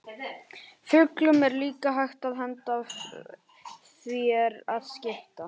Fuglum er líka hægt að henda ef því er að skipta.